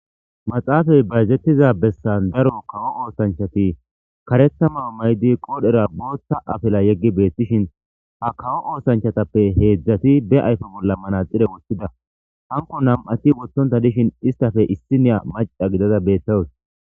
maaxafey bayzetiza bessan daro kawo oothanchati karetha mayo mayidi, be qoodhera bootha afila yeggidi beetetees. Ha kawo oothanchatappe heedzati be ayfen manaxire wothidi beetizaysa gidishin izetappe issiniya maccako.